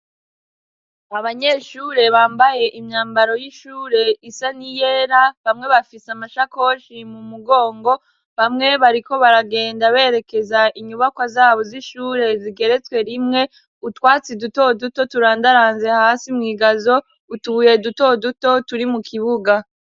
Abanyeshure bambaye imyambaro y'ishure isa n'iyera bamwe bafise amashakoshi mu mugongo bamwe bariko baragenda berekeza inyubakwa zabo z'ishure zigeretswe rimwe, utwatsi duto duto turandaranze hasi mw'igazo, utubuye duto duto turi mu kibuga.